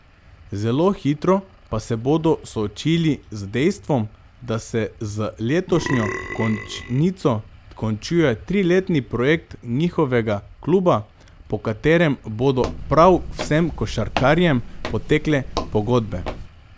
Zelo hitro pa se bodo soočili z dejstvom, da se z letošnjo končnico končuje triletni projekt njihovega kluba, po katerem bodo prav vsem košarkarjem potekle pogodbe.